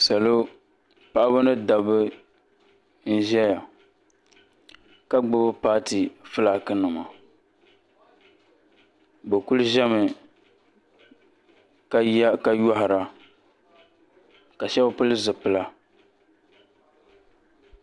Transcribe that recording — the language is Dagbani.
Salo paɣaba ni dabba n ʒɛya ka gbubi paati filaaki nima bi kuli ʒɛmi ka yɔhira ka shɛba pili zipila.